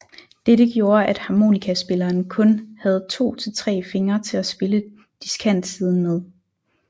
Dette gjorde at harmonikaspilleren kun havde 2 til 3 fingre til at spille diskantsiden med